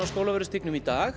Skólavörðustígnum í dag